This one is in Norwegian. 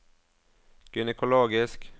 gynekologisk